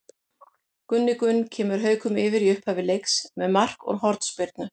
Gunni Gunn kemur Haukum yfir í upphafi leiks með marki úr hornspyrnu.